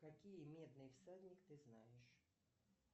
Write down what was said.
какие медные всадник ты знаешь